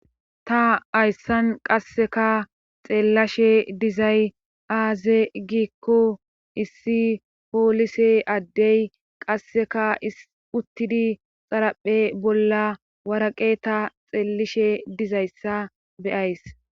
ta hayssan qasseka xeellashe dizay aaze giikko issi poolise addey qasseka uttidi xaraphe bolla waraqe ta xeellishe dizayssa beyays